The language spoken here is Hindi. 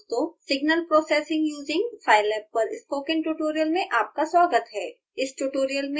नमस्कार दोस्तों signal processing using scilab पर स्पोकन ट्यूटोरियल में आपका स्वागत है